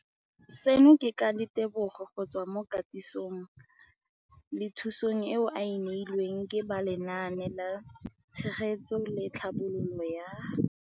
Seno ke ka ditebogo go tswa mo katisong le thu song eo a e neilweng ke ba Lenaane la Tshegetso le Tlhabololo ya